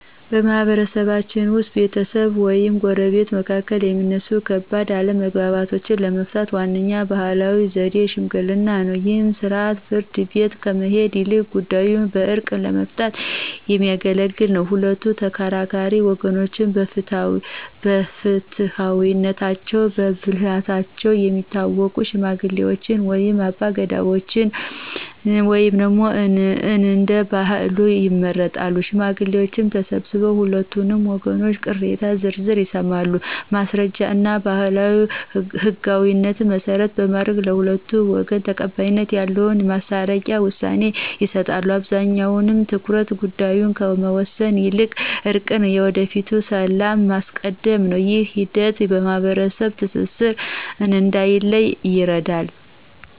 በማኅበረሰባችን ውስጥ በቤተሰቦች ወይም በጎረቤቶች መካከል የሚነሱ ከባድ አለመግባባቶችን ለመፍታት ዋነኛው ባሕላዊ ዘዴ ሽምግልና ነው። ይህ ሥርዓት ፍርድ ቤት ከመሄድ ይልቅ ጉዳዩን በዕርቅ ለመፍታት የሚያገለግል ነው። ሁለቱም ተከራካሪ ወገኖች በፍትሐዊነታቸውና በብልህነታቸው የሚታወቁ ሽማግሌዎችን ወይም አባገዳዎችን (እንደየባህሉ) ይመርጣሉ። ሽማግሌዎቹ ተሰብስበው የሁለቱንም ወገኖች ቅሬታ በዝርዝር ይሰማሉ። ማስረጃዎችንና ባሕላዊ ሕግጋትን መሠረት በማድረግ፣ ለሁለቱም ወገን ተቀባይነት ያለውን የማስታረቂያ ውሳኔ ይሰጣሉ። አብዛኛው ትኩረታቸው ጉዳዩን ከመወሰን ይልቅ እርቅንና የወደፊቱን ሰላም ማስቀደም ነው። ይህ ሂደት የማኅበረሰብ ትስስር እንዳይላላ ይረዳል።